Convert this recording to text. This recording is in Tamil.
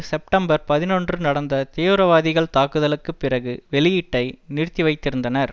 செப்டம்பர் பதினொன்று நடந்த தீவிரவாதிகள் தாக்குதலுக்கு பிறகு வெளியீட்டை நிறுத்திவைத்திருந்தனர்